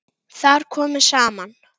Þar komu saman